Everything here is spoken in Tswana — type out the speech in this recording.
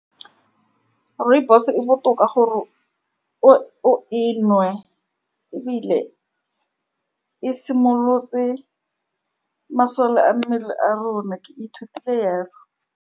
Rooibos-e e botoka gore o-o e nwe, ebile e simolotse masole a mmele a rona. Ke ithutile jalo.